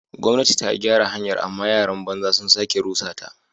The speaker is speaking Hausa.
Gwamnati ta gyara hanyar amma yaran banza sun sake rusa ta.